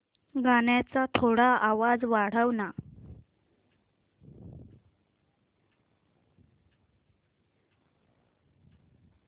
गाण्याचा थोडा आवाज वाढव ना